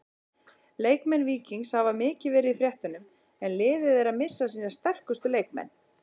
Leikmenn Víkings hafa mikið verið í fréttunum en liðið er að missa sína sterkustu leikmenn.